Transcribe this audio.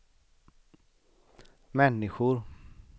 människor